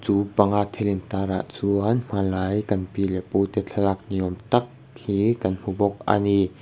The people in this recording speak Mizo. chu panga thil intar ah chuan hmanlai kan pi leh pu te thlalak niawm tak hi kan hmu bawk a ni.